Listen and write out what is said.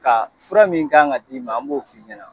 Ka fura min kan ka d'i ma , an b'o f'i ɲɛna.